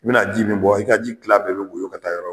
I bɛna ji min bɔ i ka ji tilan bɛɛ bɛ woyɔ ka taa yɔrɔ